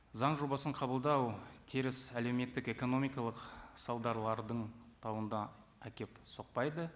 заң жобасын қабылдау теріс әлеуметтік экономикалық салдарлардың әкеп соқпайды